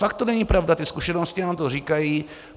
Fakt to není pravda, ty zkušenosti nám to říkají.